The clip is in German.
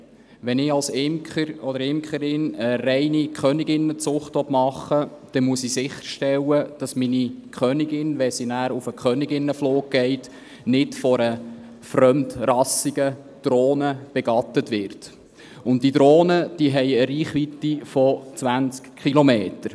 Wenn ich als Imker oder Imkerin eine reine Königinnenzucht machen will, dann muss ich sicherstellen, dass meine Königin, wenn sie nachher auf den Königinnenflug geht, nicht von einer fremdrassigen Drohne begattet wird, und diese Drohnen haben eine Reichweite von 20 Kilometern.